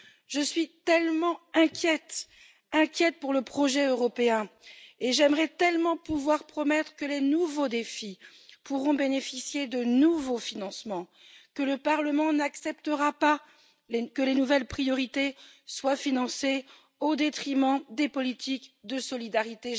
Je suis si inquiète pour le projet européen et j'aimerais tellement pouvoir promettre que les nouveaux défis pourront bénéficier de nouveaux financements, que le Parlement n'acceptera pas que les nouvelles priorités soient financées au détriment des politiques de solidarité.